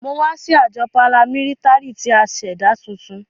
Mo wa si ajọ paramilitary ti a ṣẹda tuntun.